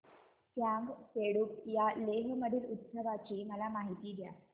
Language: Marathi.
फ्यांग सेडुप या लेह मधील उत्सवाची मला माहिती द्या